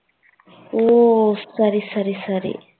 ஓ சரி சரி சரி